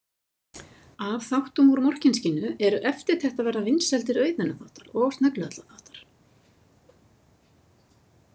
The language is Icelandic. Af þáttum úr Morkinskinnu eru eftirtektarverðar vinsældir Auðunar þáttar og Sneglu- Halla þáttar.